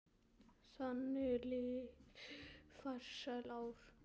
Þannig liðu farsæl ár.